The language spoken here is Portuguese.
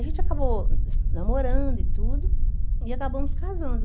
A gente acabou namorando e tudo, e acabamos casando.